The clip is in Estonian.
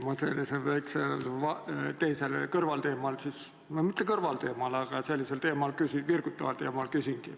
Ma esitangi teile küsimuse sellisel väikesel kõrvalteemal – või no mitte kõrvalteemal, aga sellisel virgutaval teemal.